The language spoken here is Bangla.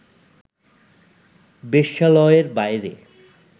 বেশ্যালয়ের বাইরে